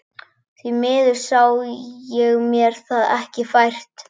Því miður sá ég mér það ekki fært.